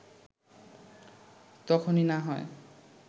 তখনই না হয়